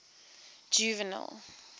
juvenal